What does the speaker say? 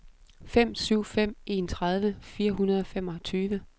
fem syv fem en tredive fire hundrede og femogtyve